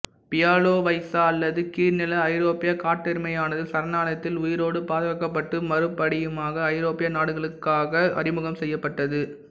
Bialowieza அல்லது கீழ்நில ஐரோப்பிய காட்டெருமையானது சரணாலயத்தில் உயிரோடு பாதுகாக்கப்பட்டு மறுபடியுமாக ஐரோப்பிய நாடுகளுக்குள்ளாக அறிமுகம் செய்யப்பட்டது